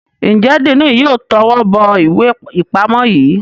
Njé Diini yóò towó bó ìwé ipamọ yí?